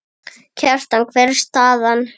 Kjartan, hver er staðan?